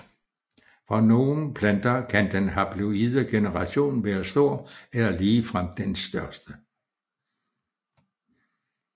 For nogle planter kan den haploide generation være stor eller ligefrem den største